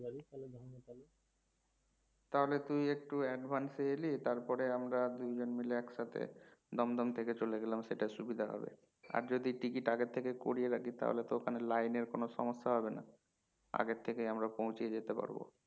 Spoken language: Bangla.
তাহলে একটু advance এ এলি তারপর আমরা দুইজন মাইল একসাথে দমদম থেকে চলে গেলাম সেটা সুবিধা হবে আর যদি টিকিট আগে থেকে কোরিয়া রাখি তাহলে তো ওখানে line এর কোনো সমস্যা হবে না আগে থেকে আমরা পৌছিয়ে যেতে পারবো